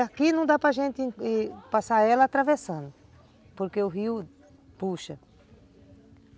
Aqui não dá para gente passar ela atravessando, porque o rio puxa.